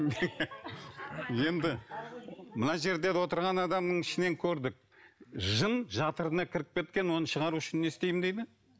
енді мына жердегі отырған адамның ішінен көрдік жын жатырына кіріп кеткен оны шығару үшін не істеймін дейді